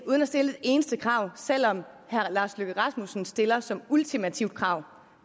uden at stille et eneste krav selv om herre lars løkke rasmussen stiller som ultimativt krav